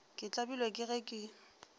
ke tlabilwe ke ge ke